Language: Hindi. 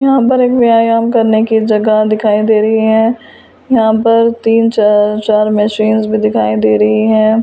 यहां पर एक व्यायाम करने की जगह दिखाई दे रही है यहां पर तीन च चार मशीनस भी दिखाई दे रही हैं ।